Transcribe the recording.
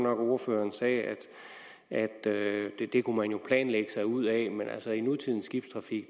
at ordføreren sagde at det kunne man jo planlægge sig ud af men i nutidens skibstrafik